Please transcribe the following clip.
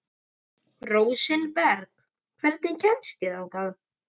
Rósinberg, hvernig kemst ég þangað?